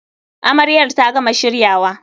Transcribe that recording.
Amaryar ta gama shiryawa.